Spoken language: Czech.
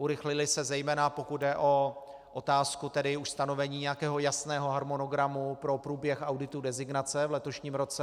Urychlily se zejména, pokud jde o otázku tedy už stanovení nějakého jasného harmonogramu pro průběh auditu designace v letošním roce.